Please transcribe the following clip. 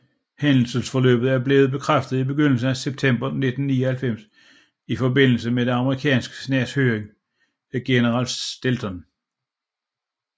Hændelsesforløbet er blevet bekræftet i begyndelsen af september 1999 i forbindelse med det amerikanske senats høring af general Shelton